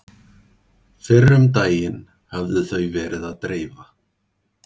Fyrr um daginn höfðu þau verið að dreifa